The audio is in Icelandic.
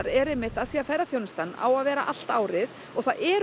af því að ferðaþjónustan á að vera allt árið það eru